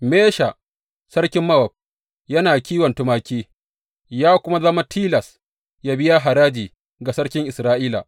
Mesha, sarkin Mowab yana kiwon tumaki, ya kuma zama tilas yă biya haraji ga sarkin Isra’ila.